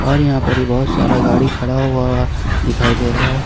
और यहां पर ही बहुत सारा गाड़ी खड़ा हुआ दिखाई दे रहा है।